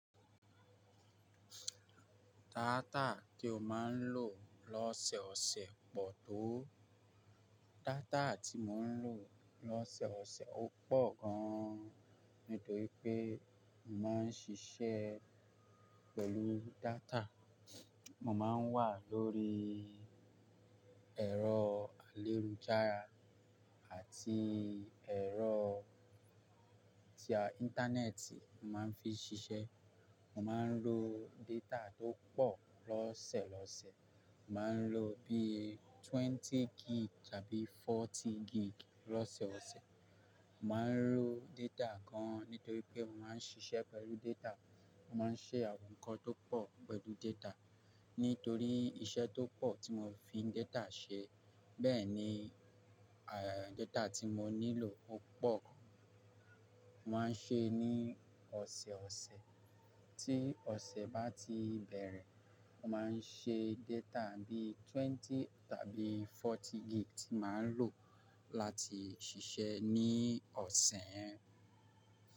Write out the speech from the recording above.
Data tí ó máa ń lò lọ́sẹ̀ọ̀sẹ̀ pọ̀ tó. Data tí mo ń lò lọ́sẹ̀ọ̀sẹ̀ ó pọ̀ gan nítorí pé mo máa ń ṣiṣẹ́ pẹ̀lú data. Mo máa ń wà lórí ẹ̀rọ ayélujára àti ẹ̀rọ tí a, Íńtánẹ́ẹ̀tì, mo máa ń fi ṣiṣẹ́. Mo máa ń lo data tó pọ̀ lọ́sẹ̀ lọ́sẹ̀. Mo máa ń lo bí i twenty gb tàbí forty gb lọ́seọ̀sẹ̀. Mo máa ń lo data gan nítorí pé mo máa ń ṣiṣẹ́ pẹ̀lú data. Mo máa ń ṣe àwọn nǹkan tó pọ̀ pẹ̀lú data. Nítorí iṣẹ́ tó pọ̀ tí mo n fi data ṣe, bẹ́ẹ̀ ni, eh, data tí mo nílò ó pọ̀. Mo máa ń ṣe ní ọ̀sẹ̀ ọ̀sẹ̀. Tí ọ̀sẹ̀ bá ti bẹ̀rẹ̀, mo máa ń ṣe data bí i twenty tàbí forty gb tí màá ń lò láti ṣiṣẹ́ ní ọ̀sẹ̀ yẹn.